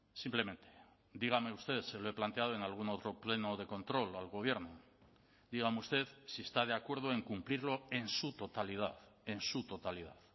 simplemente dígame usted se lo he planteado en algún otro pleno de control al gobierno dígame usted si está de acuerdo en cumplirlo en su totalidad en su totalidad